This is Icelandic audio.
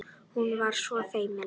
Hún var svo feimin.